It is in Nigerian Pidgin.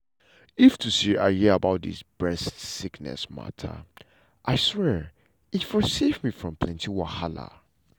if to say i don hear about dis breast sickness mata i swear e for save me from plenty wahala.